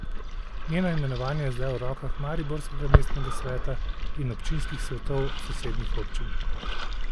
Njeno imenovanje je zdaj v rokah mariborskega mestnega sveta in občinskih svetov sosednjih občin.